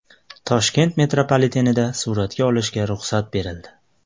Toshkent metropolitenida suratga olishga ruxsat berildi.